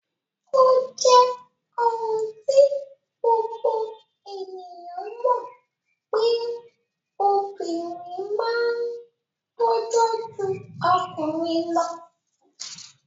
O je oun ti gbogbo ènìyàn mo pe obìnrin ma n tojó ju okùnrin lo